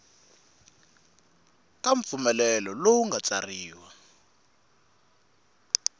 ka mpfumelelo lowu nga tsariwa